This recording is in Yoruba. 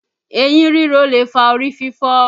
Eyín ríro lè fa orí fífọ́